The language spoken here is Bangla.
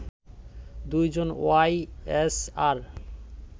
২ জন ওয়াই এসআর